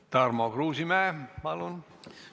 Tarmo Kruusimäe, palun!